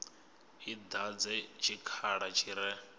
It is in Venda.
i dadze tshikhala tshi re